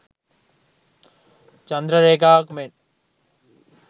චන්ද්‍ර රේඛාවක් මෙන්